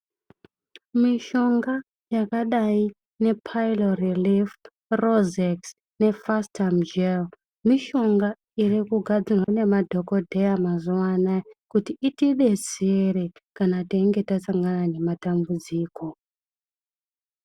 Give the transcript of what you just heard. Mishonga yakadai nge Pylorelief, Rozex ne Fastum gel mishonga irikugadzirwa nemadhokodheya mazuwa anaya kuti itidetsere kana teinga tasangana nematambudziko.